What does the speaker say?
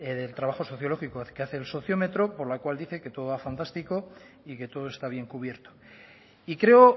del trabajo sociológico que hace el sociómetro por la cual dice que todo va fantástico y que todo está bien cubierto y creo